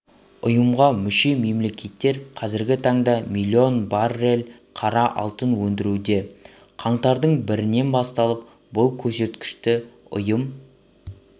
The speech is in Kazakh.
ұйымға мүше мемлекеттер қазіргі таңда миллион баррель қара алтын өндіруде қаңтардың бірінен бастап бұл көрсеткішті ұйым